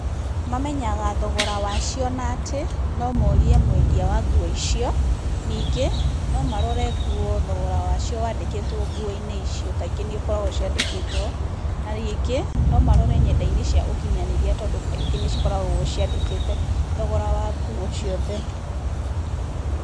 Mamenyaga thogora wacio na atĩ, no morie mwendia wa nguo icio, ningĩ no marore nguo thogora wacio wandĩkĩtwo nguo-inĩ icio, kaingĩ nĩikoragwo ciandĩkĩtwo, na rĩngĩ no marore nyenda-inĩ cia ũkinyanĩria tondũ kaingĩ nĩ cikoragwo ciandĩkĩte thogora wa nguo ciothe.